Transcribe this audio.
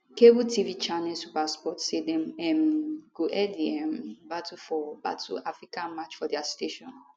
cable tv channel supersport say dem um go air di um battle for battle for africa match for dia station